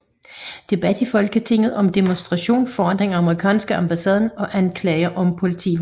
Debat i Folketinget om demonstrationen foran den amerikanske ambassade og anklager om politivold